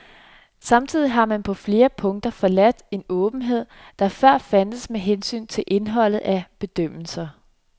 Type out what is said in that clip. Samtidig har man på flere punkter forladt en åbenhed, der før fandtes med hensyn til indholdet af bedømmelser.